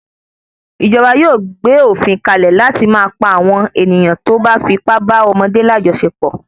Ìjọba yóò gbé òfin kalẹ̀ láti máa pa àwọ(n ènìyàn tí wọn bá fi ipá bá ọmọdé lajọsepọ